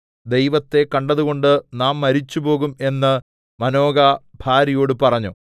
ദൈവത്തെ കണ്ടതുകൊണ്ട് നാം മരിച്ചുപോകും എന്ന് മാനോഹ ഭാര്യയോട് പറഞ്ഞു